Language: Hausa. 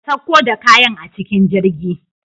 ka sauko da kayan a cikin jirgi.